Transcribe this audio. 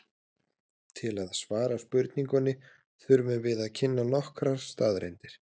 Til að svara spurningunni þurfum við að kynna nokkrar staðreyndir.